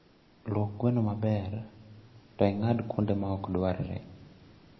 Luok gweno maber to ing'ad kuonde maokdwarre